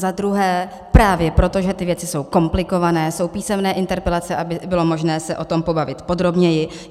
Za druhé - právě proto, že ty věci jsou komplikované, jsou písemné interpelace, aby bylo možné se o tom pobavit podrobněji.